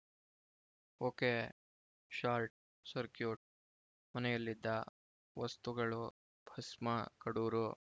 ಒಕೆಶಾರ್ಟ್‌ circuit ಮನೆಯಲ್ಲಿದ್ದ ವಸ್ತುಗಳು ಭಸ್ಮ ಕಡೂರು